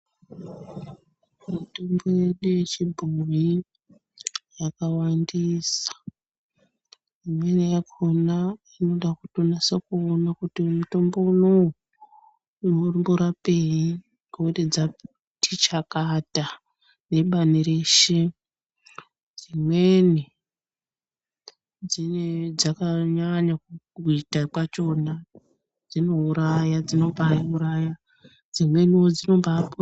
Mitombo yedu yechibhoyi yawandisa imweni yakona inoda kunyasa kuona kuti Mitombo ineyi inomborapei nekuti dzati chakata nebani reshe dzanyanya kuita kwachona dzimweni dzinouraya dzimweni dzinoponesa.